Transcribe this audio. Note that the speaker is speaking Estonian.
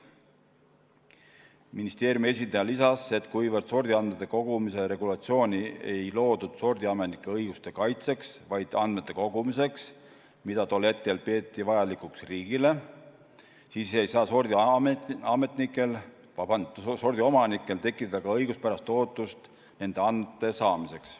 Ministeeriumi esindaja lisas, et kuivõrd sordiandmete kogumise regulatsiooni ei loodud sordiomanike õiguste kaitseks, vaid andmete kogumiseks, mida tol hetkel peeti vajalikuks riigile, siis ei saa sordiomanikel tekkida ka õiguspärast ootust nende andmete saamiseks.